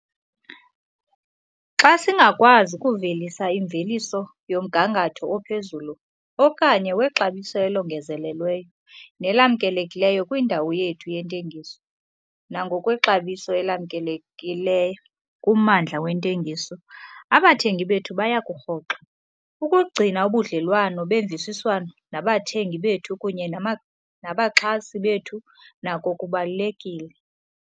Xa singakwazi kuvelisa imveliso yomgangatho ophezulu okanye wexabiso elongezelelweyo nelamkelekileyo kwindawo yethu yentengiso nangokwexabiso elamkeleke kummandla wentengiso, abathengi bethu baya kurhoxa. Ukugcina ubudlelwane bemvisiswano nabathengi bethu kunye nama nabaxhasi bethu nako kubalulekile.